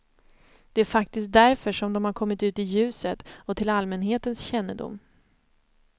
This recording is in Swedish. Det är faktiskt därför som de har kommit ut i ljuset och till allmänhetens kännedom.